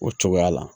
O cogoya la